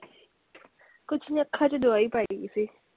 ਕੁੱਛ ਨੀ ਅੱਖਾਂ ਚ ਦਵਾਈ ਪਾਈ ਦੀ ਸੀ।